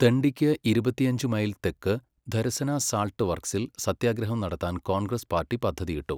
ദണ്ഡിയ്ക്ക് ഇരുപത്തിയഞ്ച് മൈൽ തെക്ക് ധരസന സാൾട്ട് വർക്സിൽ സത്യാഗ്രഹം നടത്താൻ കോൺഗ്രസ് പാർട്ടി പദ്ധതിയിട്ടു.